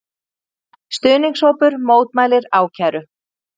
Stuðningshópur mótmælir ákæru